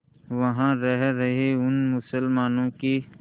वहां रह रहे उन मुसलमानों की